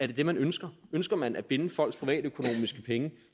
det det man ønsker ønsker man at binde folks privatøkonomiske